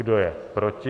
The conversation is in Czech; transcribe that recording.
Kdo je proti?